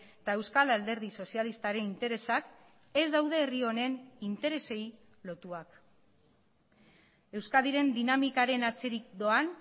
eta euskal alderdi sozialistaren interesak ez daude herri honen interesei lotuak euskadiren dinamikaren atzerik doan